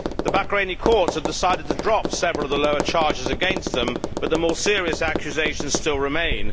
The Bahraini courts have decided to drop several of the lower charges against them, but the more serious accusations still remain.